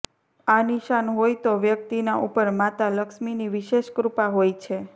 આ નિશાન હોય તો વ્યક્તિના ઉપર માતા લક્ષ્મીની વિશેષ કૃપા હોય છે